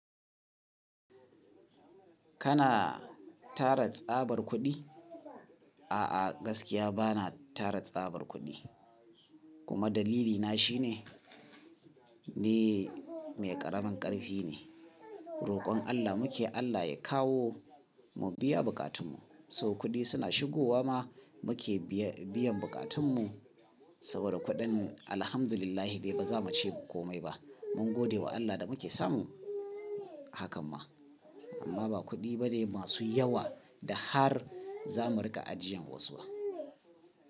Kana tara tsabar kuɗi? A'a gaskiya bana tara tsabar kuɗi kuma dalilina shine ni mai ƙaramin ƙarfi ne. Roƙon Allah muke Allah ya kawo mu biya bukatunmu. So kuɗi suna shigowa ma muke biyan bukatunmu saboda kuɗin alhamdulillah dai ba za mu ce komai ba. Mun gode wa Allah da muke samu hakan ma amma ba kuɗi ba ne masu yawa da har za mu riƙa ajiyan wasu ba.